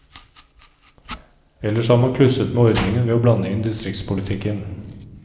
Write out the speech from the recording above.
Ellers har man klusset med ordningen ved å blande inn distriktspolitikken.